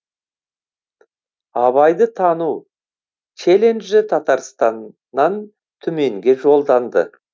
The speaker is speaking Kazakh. абайды тану челенджі татарстаннан түменге жолданды